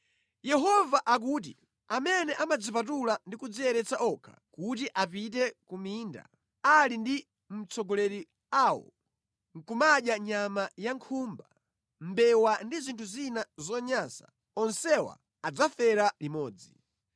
Yehova akuti, “Amene amadzipatula ndi kudziyeretsa okha kuti apite ku minda, ali ndi mtsogoleri awo, nʼkumadya nyama ya nkhumba, mbewa ndi zinthu zina zonyansa, onsewa adzafera limodzi.”